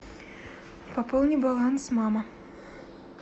пополни баланс мама